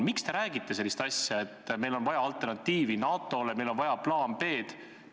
Miks te räägite sellist asja, et meil on vaja alternatiivi NATO-le, meil on vaja plaani B?